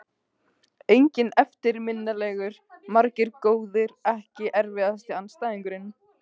Enginn eftirminnilegur, margir góðir Ekki erfiðasti andstæðingur?